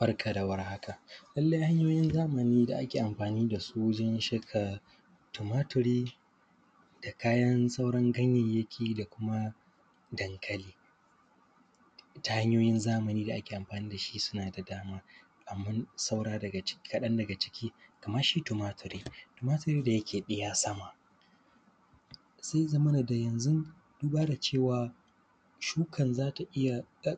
Barka da warhaka lallai hanyoyin zamani da ake amfani da shi wajen shuka tumaturi da kayan sauran ganyanyaki da kuma dankali ta hanyoyin zamani da ake amfani da shi suna da dama. Amman kaɗan daga ciki kaman shi tumaturi da yake iya sama sai ya zamana da yanzun duba da cewa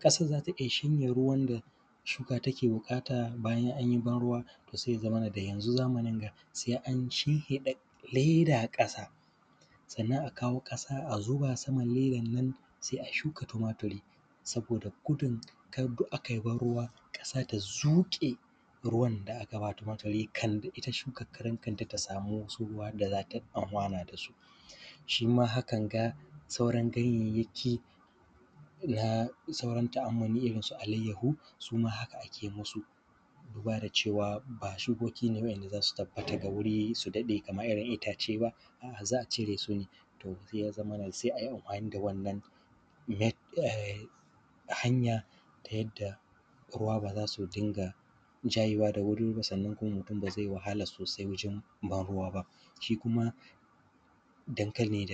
ƙasan za ta iya shanye ruwan da shuka take buƙata, bayan an yi ban ruwa to se a zamanin nan sai an shinhiɗa leda sannan a kawo ƙasa a zuba saman ledan nan sai a shuka tumaturi. Saboda gudun ka da ai ban ruwa ƙasa ta zuke ruwan da aka ba ta wato dai shukanta samu ruwan da aka bata shi ma hakan ga sauran ganyanyaki na ta’amuli kman irirn su alayyahu suma haka ake musu duba da cewa ba shukoki ba ne da za su tabbata ga wuri su daɗe ba kaman irin yadda itace ba su za a cire su ne. To, ya zaman sai an yi anfani da wannan hanyan ta yadda ruwa ba za su rinƙa jayewa daga wuri ba, sannan mutum ba zai wahala sosai wajen ban ruwa ba sannan kuma dangane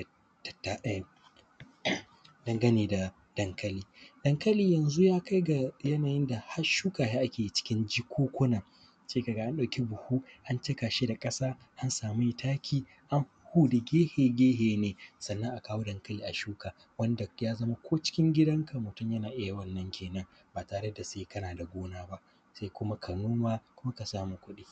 da dankali, dankali yanzu ya kai ga ynayin da har shuka shi ake cikin jakunkuna sai ka ga an samu buhu an cika shi da ƙasa da taki an huhhuda gefe-gefe sannan ka ga an kawo dankali an shuka wanda ko cikin gidan ka mutun yana iya wannan kenan ba tare da sai kana da gona ba kuma ka noma ka samu kudi.